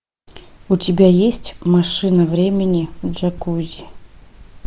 у тебя есть машина времени джакузи